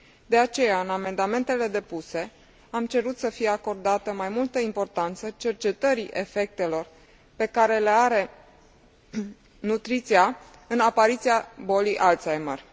De aceea, în amendamentele depuse, am cerut să fie acordată mai multă importanță cercetării efectelor pe care le are nutriția în apariția bolii Alzheimer.